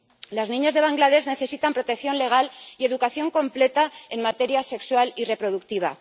Las niñas de Bangladés necesitan protección legal y educación completa en materia sexual y reproductiva.